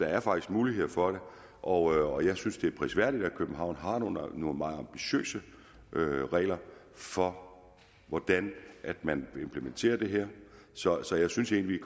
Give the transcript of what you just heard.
er faktisk muligheder for det og jeg synes at det er prisværdigt at københavn har nogle meget ambitiøse regler for hvordan man vil implementere det her så så jeg synes egentlig at